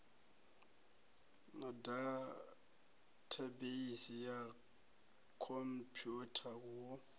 na dathabeisi ya khomphwutha hu